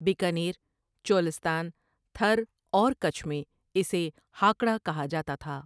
بیکانیر، چولستان، تھر اور کَچھ میں اسے ہاکڑا کہا جاتا تھا ۔